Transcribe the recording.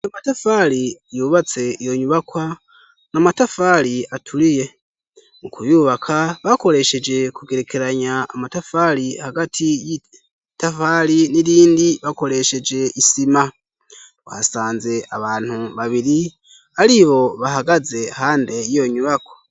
Amatafari yubatse yonyubakwa na matafali atuliye mu kuyubaka bakolesheje kugerekeranya amatafali hagati y'itafali n'ilindi bakolesheje isima wasanze abantu babiri alibo bahagaze hande yonyubakwa.